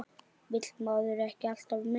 Vill maður ekki alltaf meira?